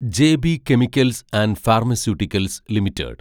J B Chemicals and Pharmaceuticals limited